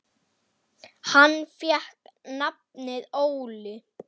Hann fékk nafnið Óli.